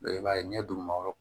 I b'a ye ɲɛ dugumakɔrɔ